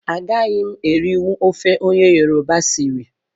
Agaghị m erinwu ofe onye yoroba siri